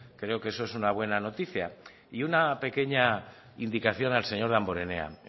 creo que eso es una buena noticia y una pequeña indicación al señor damborenea